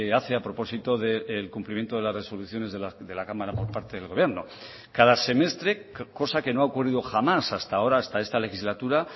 hace a propósito del cumplimiento de las resoluciones de la cámara por parte del gobierno cada semestre cosa que no ha ocurrido jamás hasta ahora hasta esta legislatura